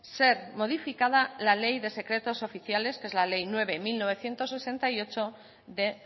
ser modificada la ley de secretos oficiales que es la ley nueve barra mil novecientos sesenta y ocho de